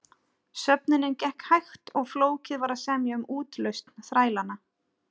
Söfnunin gekk hægt og flókið var að semja um útlausn þrælanna.